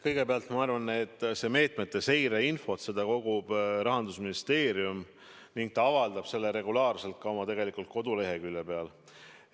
Kõigepealt, ma arvan, et seda meetmete seireinfot kogub Rahandusministeerium ning ta avaldab seda regulaarselt ka oma koduleheküljel.